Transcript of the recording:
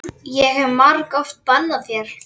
Ég hef margoft bannað þér.